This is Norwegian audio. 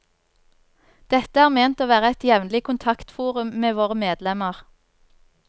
Dette er ment å være et jevnlig kontakforum med våre medlemmer.